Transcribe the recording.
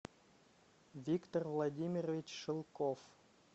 виктор владимирович шелков